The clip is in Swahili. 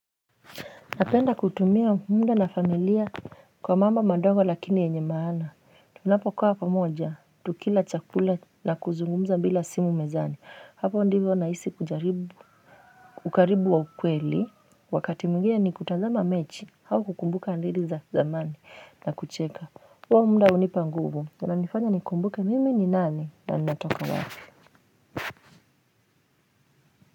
Napenda kutumia muda na familia kwa mambo mandogo lakini yenye maana, tunapokaa pamoja, tukila chakula na kuzungumza bila simu mezani, hapo ndivyo na isi kujaribu. Ukaribu wa ukweli, wakati mwingine ni kutazama mechi au kukumbuka hadithi za zamani na kucheka, huo muda hunipa nguvu unanifanya nikumbuke mimi ni nani na ninatoka wapi.